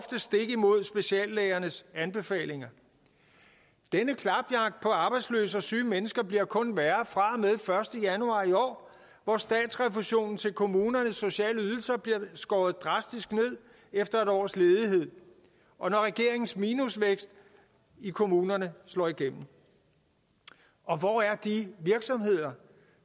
stik imod speciallægernes anbefalinger denne klapjagt på arbejdsløse og syge mennesker bliver kun værre fra og første januar i år hvor statsrefusionen til kommunernes sociale ydelser bliver skåret drastisk ned efter en års ledighed og når regeringens minusvækst i kommunerne slår igennem og hvor er de virksomheder